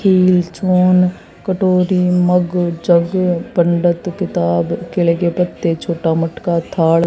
कटोरी mug jug पंडित किताब केले के पत्ते छोटा मटका थाल--